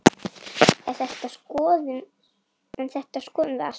En þetta skoðum við allt.